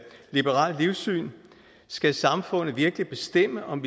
liberalt livssyn skal samfundet virkelig bestemme om